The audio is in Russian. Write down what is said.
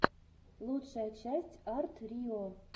лучшая часть арт рио